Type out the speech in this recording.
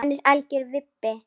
Hann er algjör vibbi.